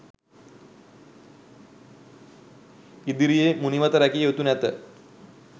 ඉදිර්යේ මුනිවත රැකිය යුතු නැත